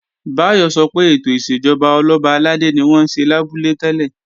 Báyọ̀ sọ pé ètò ìṣèjọba Ọlọ́ba àlàdé ni wọ́n ń ṣe lábúlé tẹ́lẹ̀